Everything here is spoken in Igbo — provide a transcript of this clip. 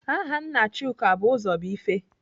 Aha nna Chuka bụ Ụzọbuife.